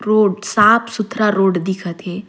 रोड साफ -सुथरा रोड दिखत है।